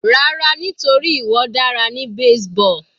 Rárá nítorí ìwọ dára ní baseball.